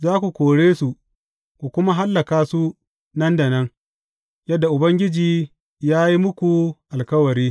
Za ku kore su, ku kuma hallaka su nan da nan, yadda Ubangiji ya yi muku alkawari.